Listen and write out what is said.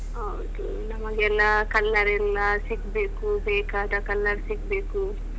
ಹೌದು ನಮಗೆಲ್ಲಾ colour ಎಲ್ಲಾ ಸಿಗ್ಬೇಕು ಬೇಕಾದ colour ಸಿಗ್ಬೇಕು.